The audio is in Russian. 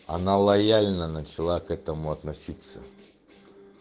она лояльно начало к этому относиться